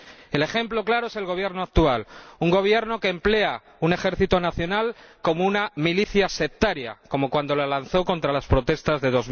El ejemplo claro es el gobierno actual, un gobierno que emplea un ejército nacional como una milicia sectaria, como cuando la lanzó contra las protestas de